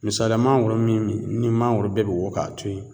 Misaliya mangoro min ni mangoro bɛ be wo k'a to yen